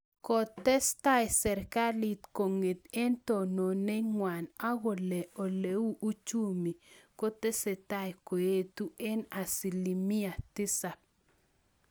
Kotestai serkalit kong'et eng tononet ngw'ang akolee oleu uchumii kotesetai koetuuu eng asilimia tisap